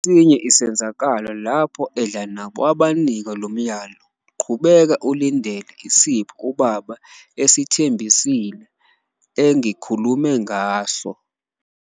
Ngesinye isenzakalo lapho edla nabo, wabanika lo myalo "qhubeka ulindele isipho uBaba esithembisile, engikhulume ngaso".